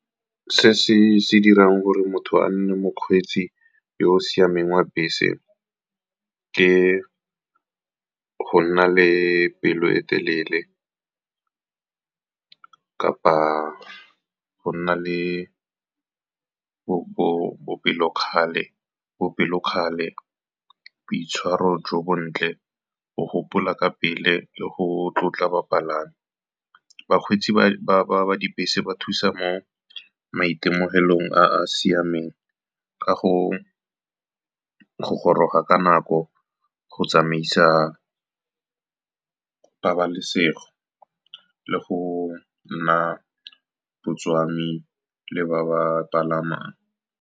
Se se dirang gore motho a nne mokgweetsi yo o siameng wa bese ke go nna le pelo e telele, kapa go nna le bopelokgale, boitshwaro jo bontle, go gopola ka pele le go tlotla bapalami. Bakgweetsi ba dibese ba thusa mo maitemogelong a a siameng ka go goroga ka nako, go tsamaisa pabalesego le go nna botswami le ba ba palamang.